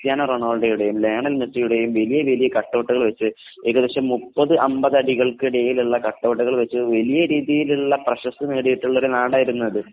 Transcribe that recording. Cristiano റൊണാൾഡോയുടെയും Lionel മെസ്സിയുടെയും വലിയ വലിയ കട്ടൗട്ടുകൾ വച്ച് ഏകദേശം മുപ്പത് അമ്പത് അടികൾ വലിപ്പമുള്ള കട്ടൗട്ടുകൾ വച്ച് വലിയ രീതിയിൽ പ്രശസ്തി നേടിയിട്ടുള്ള ഒരു നാടായിരുന്നു അത് .